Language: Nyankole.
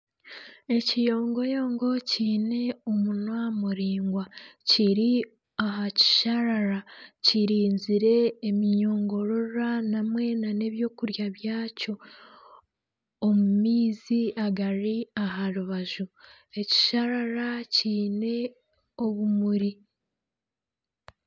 Ekiyongoyongo kyiine omunwa muraingwa kiri aha kisharara kirinzire eminyongororwa hamwe nana ebyokurya byakyo omu maizi agari aha rubaju .Ekisharara kyiine obumuri.